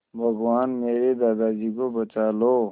भगवान मेरे दादाजी को बचा लो